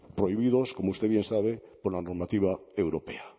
prohibidos como usted bien sabe por la normativa europea